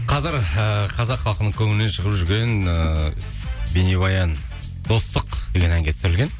қазір ііі қазақ халқының көңілінен шығып жүрген ыыы бейнебаян достық деген әнге түсірілген